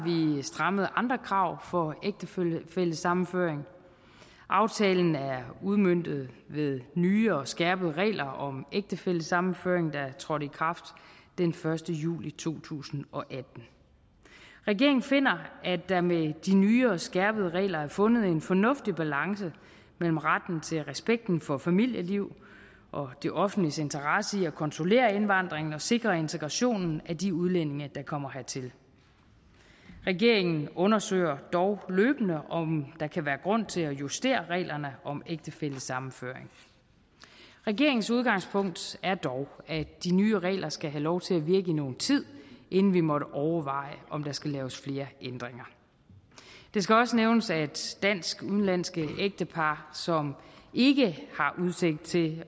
vi strammet andre krav for ægtefællesammenføring aftalen er udmøntet med nye og skærpede regler om ægtefællesammenføring der trådte i kraft den første juli to tusind og atten regeringen finder at der med de nye og skærpede regler er fundet en fornuftig balance mellem retten til respekten for familieliv og det offentliges interesse i at kontrollere indvandringen og sikre integrationen af de udlændinge der kommer hertil regeringen undersøger dog løbende om der kan være grund til at justere reglerne om ægtefællesammenføring regeringens udgangspunkt er dog at de nye regler skal have lov til at virke i nogen tid inden vi måtte overveje om der skal laves flere ændringer det skal også nævnes at dansk udenlandske ægtepar som ikke har udsigt til